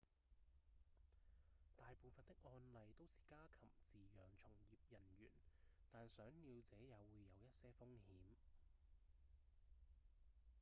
大部分的案例都是家禽飼養從業人員但賞鳥者也會有一些風險